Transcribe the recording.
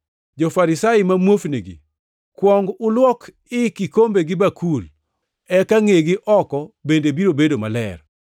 Jo-Farisai ma muofnigi! Kuong ulwok i kikombe gi bakul, eka ngʼegi oko bende biro bedo maler.